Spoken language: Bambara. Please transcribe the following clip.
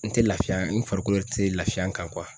N te lafiya n farikolo yɛrɛ te lafiya n kan kuwa